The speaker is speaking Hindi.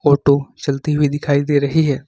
ऑटो चलती हुई दिखाई दे रही है।